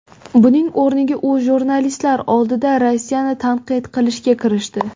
Buning o‘rniga u jurnalistlar oldida Rossiyani tanqid qilishga kirishdi.